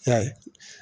I y'a ye